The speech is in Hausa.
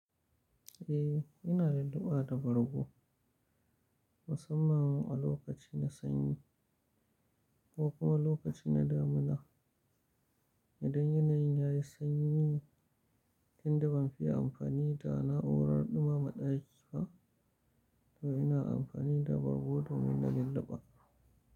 Eh, ina lulluɓa da bargo musamman a lokaci na sanyi ko kuma lokaci na damuna. Idan yanayin yayi sanyi, inda ban fiya amfani da na'urar ɗumama ɗaki ba, to ina amfani da bargo domin na lilliɓa.